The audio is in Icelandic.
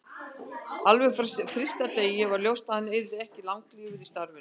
Alveg frá fyrsta degi var ljóst að hann yrði ekki langlífur í starfinu.